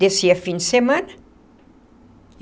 Descia fim de semana.